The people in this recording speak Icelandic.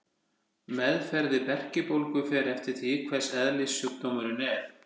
Meðferð við berkjubólgu fer eftir því hvers eðlis sjúkdómurinn er.